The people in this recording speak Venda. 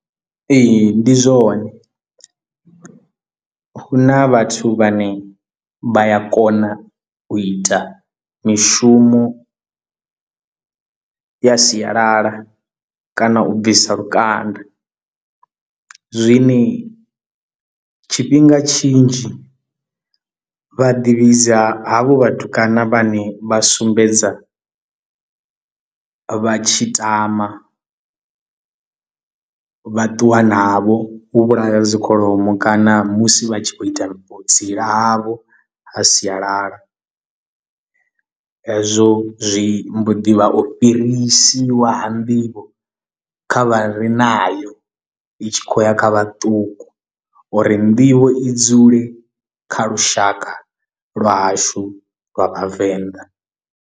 Ee ndi zwone huna vhathu vhane vha ya kona u ita mishumo ya sialala kana u bvisa lukanda zwine tshifhinga tshinzhi vha ḓivhidza havho vhatukana vhane vha sumbedza vha tshi tama vha ṱuwa navho vhu vhulaya dzikholomo kana musi vha tshi khou ita vho vhutsila havho ha sialala hezwo zwi mboḓi vha u fhirisiwa ha nḓivho kha vha re nayo i tshi khou ya kha vhaṱuku uri nḓivho i dzule kha lushaka lwa hashu lwa vhavenḓa.